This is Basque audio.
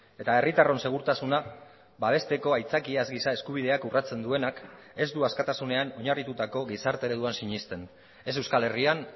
eta herritarron segurtasuna babesteko aitzakiaz giza eskubideak urratzen duenak ez du askatasunean oinarritutako gizarte ereduan sinesten ez euskal herrian